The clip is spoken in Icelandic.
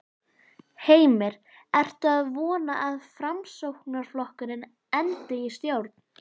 Heimir: Ertu að vona að Framsóknarflokkurinn endi í stjórn?